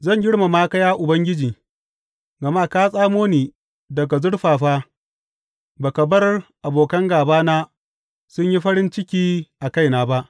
Zan girmama ka Ya Ubangiji, gama ka tsamo ni daga zurfafa ba ka bar abokan gābana sun yi farin ciki a kaina ba.